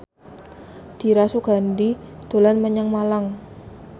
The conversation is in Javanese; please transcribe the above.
Dira Sugandi dolan menyang Malang